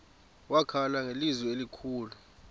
wakhala ngelizwi elikhulu